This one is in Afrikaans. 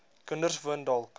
kinders woon dalk